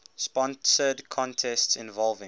sponsored contests involving